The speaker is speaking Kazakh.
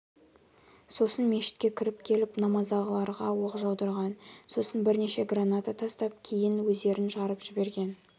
сосын мешітке кіріп келіп намаздағыларға оқ жаудырған сосын бірнеше граната тастап кейін өздерін жарып жіберген